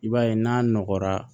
I b'a ye n'a nɔgɔra